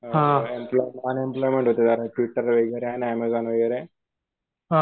Flipkart वगैरे आहे ना ऍमेझॉन वगैरे